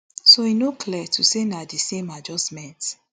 so e no clear to say na di same adjustment